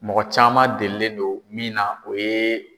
Mɔgɔ caman delilen don min na, o ye